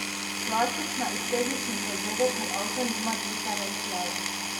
Plastična iz tehničnih razlogov, ker avto nima diferencialov.